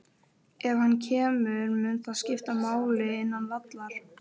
Ef hann kemur, mun það skipta máli innan vallar?